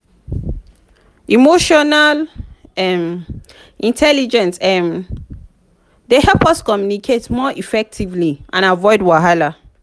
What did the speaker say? emotional um intelligence um dey help us communicate more effectively and avoid wahala.